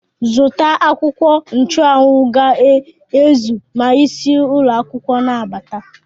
Zụta akwụkwọ ncha anwụ ga-ezu ma isi ụlọ akwụkwọ na-abata!